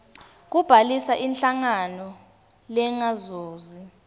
kubhalisa inhlangano lengazuzi